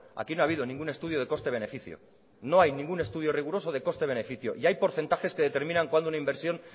aquí no ha habido ningún estudio de coste beneficio no hay ningún estudio riguroso de coste beneficio y hay porcentajes que determinan cuándo una inversión